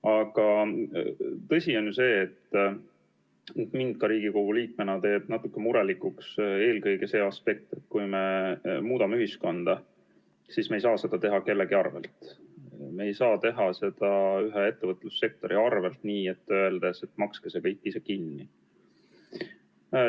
Aga tõsi on see, et mind ka Riigikogu liikmena teeb murelikuks eelkõige see aspekt, et kui me muudame ühiskonda, siis me ei saa seda teha kellegi arvel, me ei saa teha seda ühe ettevõtlussektori arvel, öeldes, et makske see kõik ise kinni.